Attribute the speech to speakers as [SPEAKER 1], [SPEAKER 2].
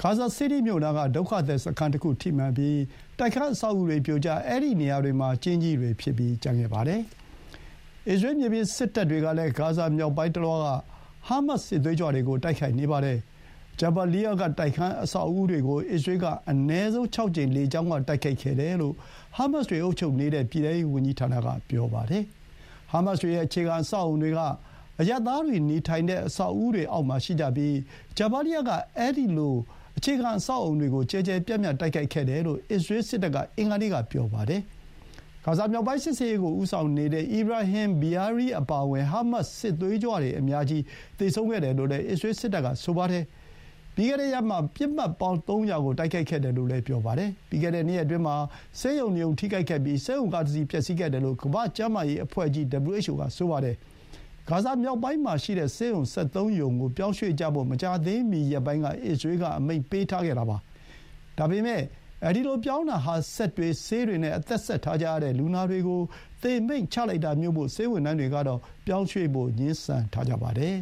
[SPEAKER 1] ဂါဇာစီးတီးမြို့နားက ဒုက္ခသည်စခန်းတခုကိုထိမှန်ပြီး တိုက်ခန်းအဆောက်အဦးတွေ ပြိုကျ၊ အဲဒီနေရာတွေမှာ ကျင်းကြီးတွေဖြစ်ကျန်ခဲ့ပါတယ်။ အစ္စရေး မြေပြင်စစ်တပ်တွေ ကလည်း ဂါဇာမြောက်ပိုင်းတလွှားက ဟားမတ်စ် စစ်သွေးကြွတွေကို တိုက်ခိုက်နေပါတယ်။ ဂျာဘာလီယား (Jabaliya) က တိုက်ခန်းအဆောက်အဦးတွေကို အစ္စရေးက အနည်းဆုံး ၆ ကြိမ် လေကြောင်းက တိုက်ခိုက်ခဲ့တယ်လို့ ဟားမတ်စ်တွေအုပ်ချုပ်နေတဲ့ ပြည်ထဲရေးဝန်ကြီးဌာနက ပြောပါတယ်။ ဟားမတ်စ်တွေရဲ့ အခြေခံအဆောက်အအုံတွေက အရပ်သားတွေနေထိုင်တဲ့ အဆောက်အဦးတွေရဲ့အောက်မှာရှိကြပြီး ဂျာဘာလီယား က အဲဒီလို အဆောက်အအုံတွေကို ကျယ်ကျယ်ပြန့်ပြန့်တိုက်ခိုက်ခဲ့တယ်လို့ အစ္စရေးစစ်တပ်က အင်္ဂါနေ့က ပြောပါတယ်။ ဂါဇာမြောက်ပိုင်း စစ်ဆင်ရေးကို ဦးဆောင်နေတဲ့ Ibrahim Biari အပါအဝင် ဟားမတ်စ် စစ်သွေးကြွအများကြီး သေခဲ့တယ်လို့လည်း အစ္စရေးစစ်တပ်က ဆိုပါတယ်။ ပြီးခဲ့တဲ့ရက်မှာ ပစ်မှတ်ပေါင်း ၃၀၀ ကို တိုက်ခိုက်ခဲ့တယ်လို့လည်း ပြောပါတယ်။ ပြီးခဲ့တဲ့ ၂ ရက်အတွင်းမှာ ဆေးရုံ ၂ ရုံ ထိခိုက်ခဲ့ပြီး ဆေးရုံကားတစီး ပျက်စီးခဲ့တယ်လို့ ကမ္ဘာ့ကျန်းမာရေးအဖွဲ့ကြီး WHO က ဆိုပါတယ်။ ဂါဇာမြောက်ပိုင်းမှာရှိတဲ့ ဆေးရုံ ၁၃ ရုံကို ပြောင်းရွှေ့ကြဖို့ မကြာသေးမီရက်ပိုင်းက အစ္စရေး က အမိန့်ပေးထားခဲ့တာပါ။ ဒါပေမဲ့ ဒီလို ပြောင်းတာဟာ စက်တွေ၊ ဆေးတွေနဲ့ အသက်ဆက်ထားကြရတဲ့ လူနာတွေ ကို သေမိန့်ချတာမို့ ဆေးဝန်ထမ်းတွေကတော့ ပြောင်းရွှေ့ဖို့ ငြင်းဆန်ထားကြပါတယ်